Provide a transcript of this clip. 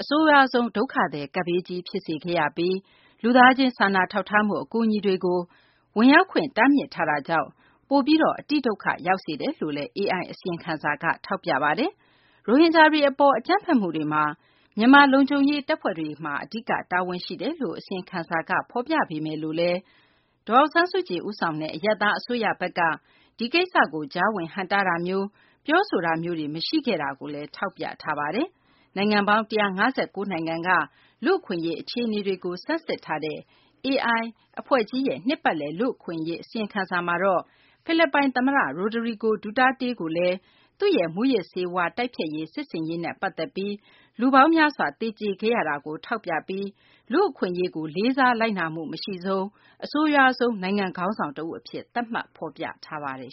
အဆိုးရွားဆုံး ဒုက္ခသည် ကပ်ဘေးကြီး ဖြစ်စေခဲ့ပြီး လူသားချင်း စာနာထောက်ထားမှု အကူအညီတွေကို ဝင်ရောက်ခွင့် တားမြစ်တာကြောင့် ပိုပြီး အတိဒုက္ခ ရောက်စေတယ်လို့လည်း AI အစီရင်ခံစာက ထောက်ပြပါတယ်။ ရိုဟင်ဂျာတွေ အပေါ် အကြမ်းဖက်မှုတွေမှာ မြန်မာ လုံခြုံရေး တပ်ဖွဲ့တွေမှာ အဓိက တာဝန်ရှိတယ်လို့ အစီရင်ခံစာက ဖော်ပြပေမယ့် ဒေါ်အောင်ဆန်းစုကြည် ဦးဆောင်တဲ့ အရပ်သား အစိုးရဘက်က ဒီကိစ္စကို ကြားဝင် ဟန့်တားတာမျိုး၊ ပြောဆိုတာမျိုးတွေ မရှိခဲ့ဘူးလို့လည်း ထောက်ပြထားတာပါ။ နိုင်ငံပေါင်း ၁၅၉ နိုင်ငံက လူ့အခွင့်အရေး အခြေနေတွေကို ဆန်းစစ်ထားတဲ့ AI ရဲ့ နှစ်ပတ်လည် လူ့အခွင့်အရေး အစီရင်ခံစာ မှာတော့ ဖိလစ်ပိုင် သမ္မတ ရိုဒရီဂို ဒူတာတေးကိုလည်း လူ့အခွင့်အရေးကို လေးစား လိုက်နာမှု မရှိဆုံး အဆိုးရွားဆုံး နိုင်ငံ ခေါင်းဆောင် တဦး အဖြစ် သတ်မှတ် ဖော်ပြထားပါတယ်